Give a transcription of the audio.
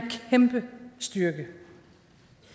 kæmpe styrke